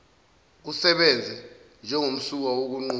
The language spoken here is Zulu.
kusebenze njengomsuka wokunquma